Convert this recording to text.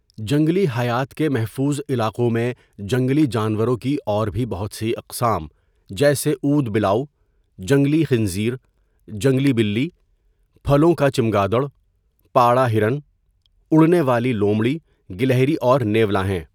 جنگلی حیات کے محفوظ علاقوں میں جنگلی جانوروں کی اور بھی بہت سی اقسام جیسے اود بلاؤ، جنگلی خنزیر، جنگلی بلی، پھلوں کا چمگادڑ، پاڑہ ہرن، اڑنے والی لومڑی، گلہری اور نیولا ہیں۔